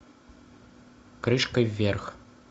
крышкой вверх